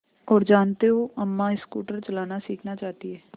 और जानते हो अम्मा स्कूटर चलाना सीखना चाहती हैं